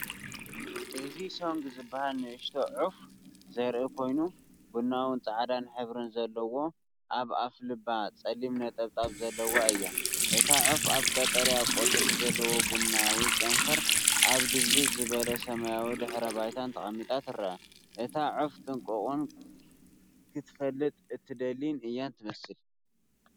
እዚ ሶንግ ዝበሃል ንእሽቶ ዑፍ ዘርኢ ኮይኑ፡ቡናውን ጻዕዳን ሕብሪ ዘለዋን ኣብ ኣፍልባ ጸሊም ነጠብጣብን ዘለዋ እያ። እታ ዑፍ ኣብ ቀጠልያ ቆጽሊ ዘለዎ ቡናዊ ጨንፈር፡ኣብ ድብዝዝ ዝበለ፡ ሰማይ ድሕረባይታ ተቐሚጣ ትርአ። እታ ዑፍ ጥንቁቕን ክትፈልጥ እትደሊን እያ እትመስል።